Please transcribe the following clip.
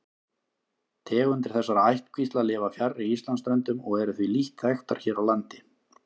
Tegundir þessara ættkvísla lifa fjarri Íslandsströndum og eru því lítt þekktar hér á landi.